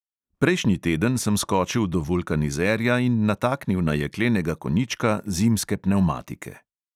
Prejšnji teden sem skočil do vulkanizerja in nataknil na jeklenega konjička zimske pnevmatike.